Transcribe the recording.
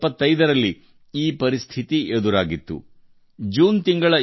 ತುರ್ತು ಪರಿಸ್ಥಿತಿ ಹೇರಿದಾಗ ಅದು ಜೂನ್ ತಿಂಗಳು